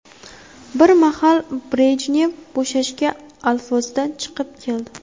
Bir mahal Brejnev bo‘shashgan alfozda chiqib keldi.